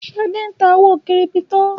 Ṣadé ń ta owó kírípítò